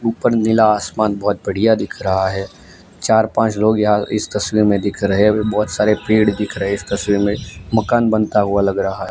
ऊपर नीला आसमान बहोत बढ़िया दिख रहा हैं चार पाँच लोग यहां इस तस्वीर में दिख रहें हैं बहोत सारे पेड़ दिख रहें हैं इस तस्वीर में मकान बनता हुआ लग रहा--